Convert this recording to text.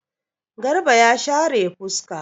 Garba ya share fuska.